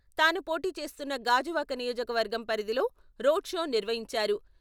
తాను పోటీ చేస్తున్న గాజువాక నియోజకవర్గం పరిధిలో రోడ్ షో నిర్వహించారు.